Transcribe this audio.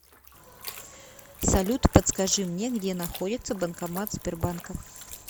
салют подскажи мне где находится банкомат сбербанка